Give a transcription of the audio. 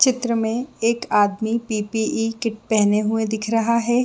चित्र में एक आदमी पी .पी .ई किट पेहने हुए दिख रहा है।